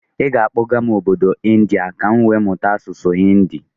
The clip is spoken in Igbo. Ị ga akpọga m obodo India ka m wee mụta asụsụ Hinidi?